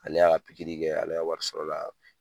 Ale y'a ka pikiri kɛ ale ka wari sɔrɔla